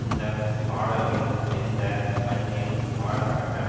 இந்த பாடல்கள் எந்த பண்ணில் பாடப்பட்டன